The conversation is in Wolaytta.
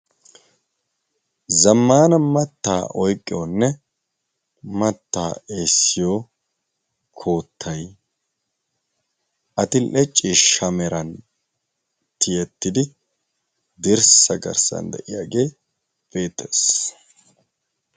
Zammaana mattaa oiqqiyoonne mattaa eessiyo koottai adil'ee ciishshaa meran tiyettidi dirssa garssan de'iyaagee beettees.